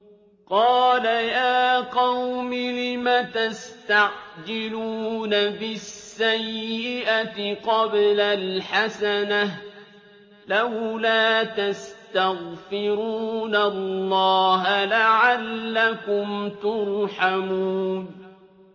قَالَ يَا قَوْمِ لِمَ تَسْتَعْجِلُونَ بِالسَّيِّئَةِ قَبْلَ الْحَسَنَةِ ۖ لَوْلَا تَسْتَغْفِرُونَ اللَّهَ لَعَلَّكُمْ تُرْحَمُونَ